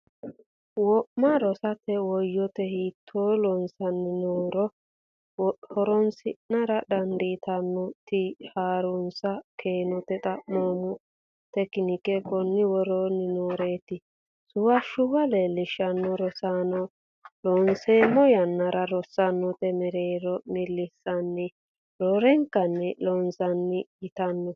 wo ma rosiisatto woyite hiitto loossanni nooro horonsi ra dandaatto a ti ha runs keenoti xaphoomu tekinike konni woroonni nooreeti Suwashshiweelo Laishsha Rosiisaano Loonsemmo yannara rosaanote mereero millisanni roorenkanni Loossinanni yitanno.